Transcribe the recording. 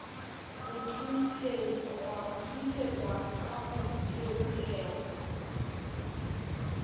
ho thunthetswa ka ho theolelwa